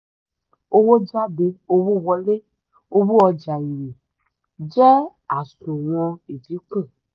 owó jade owó wole owó ọjà èrè jẹ àsùnwọ̀n dínkù.